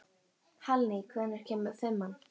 Hallný, hvenær kemur fimman?